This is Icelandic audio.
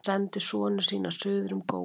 Hann sendi sonu sína suður um góu.